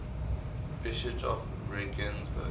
bishops of regensburg